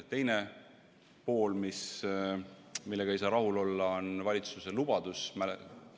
Teine teema, millega ei saa rahul olla, on valitsuse lubadus.